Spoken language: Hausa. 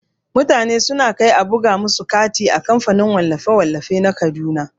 Mutane suna kai a buga musu katin aure a kamfanin wallafe-wallafe na kaduna.